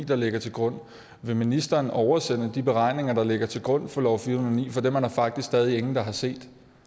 der ligger til grund vil ministeren oversende de beregninger der ligger til grund for lov fire hundrede og ni for dem er der faktisk stadig ingen der har set